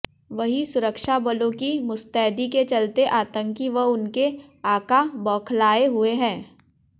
वहीं सुरक्षाबलों की मुस्तैदी के चलते आतंकी व उनके आका बौखालाए हुए हैं